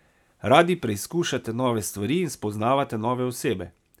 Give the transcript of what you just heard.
Radi preizkušate nove stvari in spoznavate nove osebe.